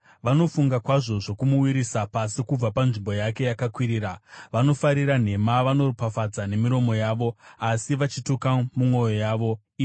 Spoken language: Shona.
Vanofunga kwazvo zvokumuwisira pasi kubva panzvimbo yake yakakwirira; vanofarira nhema. Vanoropafadza nemiromo yavo, Asi vachituka mumwoyo yavo. Sera